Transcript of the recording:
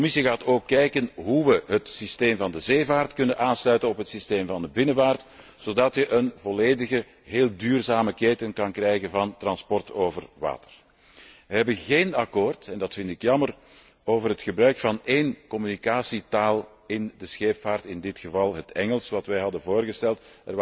De Commissie gaat ook kijken hoe we het systeem van de zeevaart kunnen aansluiten op het systeem van de binnenvaart zodat je een volledige, heel duurzame keten kan krijgen van transport over water. We hebben geen akkoord en dat vind ik jammer over het gebruik van één communicatietaal in de scheepvaart, in dit geval het Engels, dat wij hadden voorgesteld.